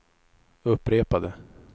upprepade